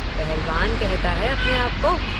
पहलवान कहता है अपने को?